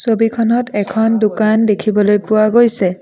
ছবিখনত এখন দোকান দেখিবলৈ পোৱা গৈছে।